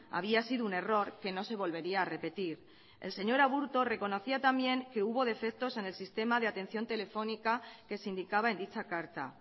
había sido un error que no se volvería a repetir el señor aburto reconocía también que hubo defectos en el sistema de atención telefónica que se indicaba en dicha carta